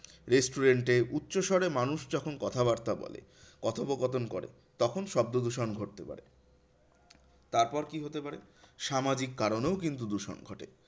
Restaurant এ উচ্চস্বরে মানুষ যখন কথাবার্তা বলে কথোপকথন করে তখন শব্দদূষণ ঘটতে পারে। তারপর কি হতে পারে? সামাজিক কারণেও কিন্তু দূষণ ঘটে।